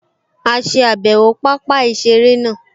A ṣe àbẹ̀wò pápá-ìseré náà